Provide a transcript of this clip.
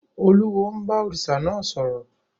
Olúwo ń bá òrìṣà náà sọ̀rọ̀.